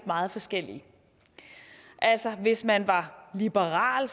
meget forskellige hvis man var liberal